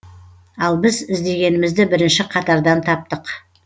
ал біз іздегенімізді бірінші қатардан таптық